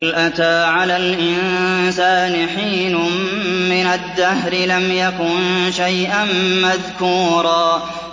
هَلْ أَتَىٰ عَلَى الْإِنسَانِ حِينٌ مِّنَ الدَّهْرِ لَمْ يَكُن شَيْئًا مَّذْكُورًا